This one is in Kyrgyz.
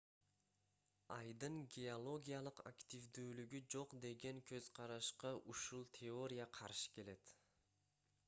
айдын геологиялык активдүүлүгү жок деген көз-карашка ушул теория каршы келет